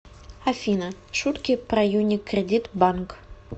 афина шутки про юникредит банк